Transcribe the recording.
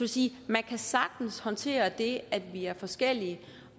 sige at man sagtens kan håndtere det at vi er forskellige